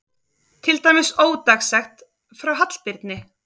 Til dæmis ódagsett frá Hallbirni